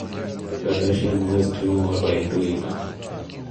Kardashian West nooro e twita.